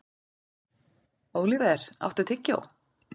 Óliver, áttu tyggjó?